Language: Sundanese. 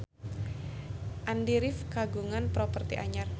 Andy rif kagungan properti anyar